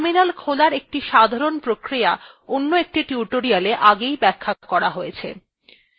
terminal খোলার একটি সাধারণ প্রক্রিয়া অন্য একটি tutorial আগেই ব্যাখ্যা করা হয়েছে